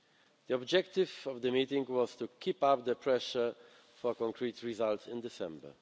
The objective of the meeting was to keep up the pressure for concrete results in December.